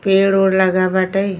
पड़े ओड़ लगा बाटे।